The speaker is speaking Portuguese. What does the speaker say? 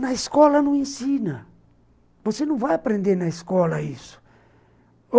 Na escola não ensina, você não vai aprender na escola isso.